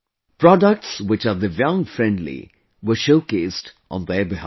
Products which are Divyang Friendly were showcased on their behalf